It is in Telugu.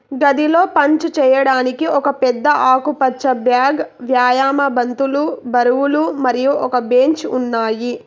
గదిలో పంచ్ చేయడానికి ఒక పెద్ద ఆకుపచ్చ బ్యాగ్ వ్యాయామ బంతులు బరువులు మరియు ఒక బెంచ్ ఉన్నాయి.